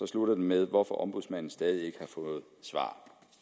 slutter med hvorfor ombudsmandens stadig ikke har fået svar